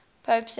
pope clement